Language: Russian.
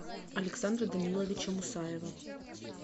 александра даниловича мусаева